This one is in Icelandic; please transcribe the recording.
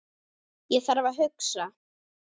Ég þarf að hugsa.